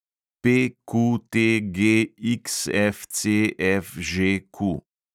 PQTGXFCFŽQ